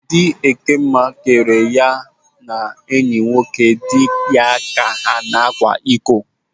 Di Ekemma kere ya na enyi nwoke dị ya ka ha na-akwa iko.